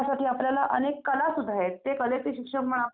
बघण्यासाठी खूप काही भेटेल तुम्हाला तिकडं.